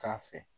K'a fɛ